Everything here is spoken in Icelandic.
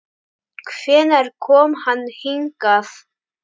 Hvenær kom hann hingað?